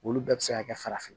Olu bɛɛ bɛ se ka kɛ farafin